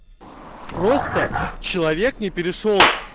просто человек не перешёл